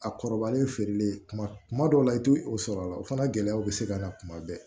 A kɔrɔbalen feereli kuma kuma dɔw la i tɛ o sɔrɔ a la o fana gɛlɛyaw bɛ se ka na kuma bɛɛ